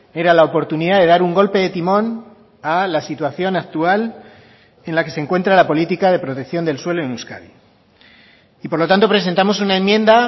era la oportunidad de dar un golpe de timón a la situación actual en la que se encuentra la política de protección del suelo en euskadi y por lo tanto presentamos una enmienda